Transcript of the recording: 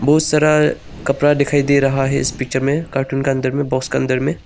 बहुत सारा कपड़ा दिखाई दे रहा है इस पिक्चर में कॉर्टून का अंदर में बॉक्स का अंदर में।